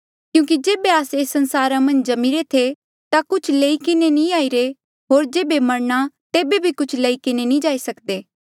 क्यूंकि जेबे आस्से एस संसारा मन्झ जम्मीरे थे ता कुछ लेई किन्हें नी आईरे थे होर जेबे मरणा तेबे भी कुछ नी लेई जाई सकदे